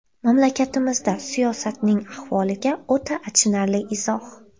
Mamlakatimizda siyosatning ahvoliga o‘ta achinarli izoh.